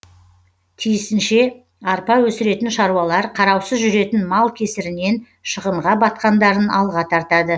тиісінше арпа өсіретін шаруалар қараусыз жүретін мал кесірінен шығынға батқандарын алға тартады